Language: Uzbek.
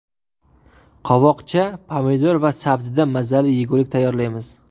Qovoqcha, pomidor va sabzidan mazali yegulik tayyorlaymiz.